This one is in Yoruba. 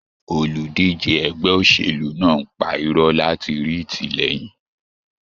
Olùdíje ẹgbẹ́ òṣèlú náà ń pa irọ́ láti rí ìtìlẹyìn.